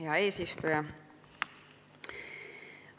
Hea eesistuja!